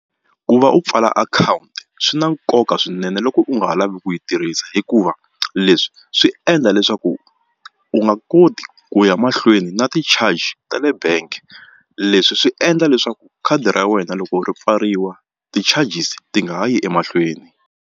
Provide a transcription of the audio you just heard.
Ku va u pfala akhawunti swi na nkoka swinene loko u nga ha lavi ku yi tirhisa hikuva leswi swi endla leswaku u nga koti ku ya mahlweni na ti-charge ta le bank leswi swi endla leswaku khadi ra wena loko ri pfariwa ti-charges ti nga ha yi emahlweni.